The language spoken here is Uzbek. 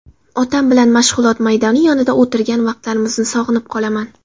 Otam bilan mashg‘ulot maydoni yonida o‘tirgan vaqtlarimizni sog‘inib qolaman.